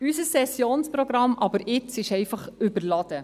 Aber unser Sessionsprogramm ist jetzt einfach überladen.